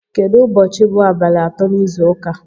Kedụ ụbọchị bụ abalị atọ n'izu ụka?